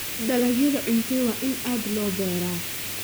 Dalagyada cuntada waa in aad loo beeraa.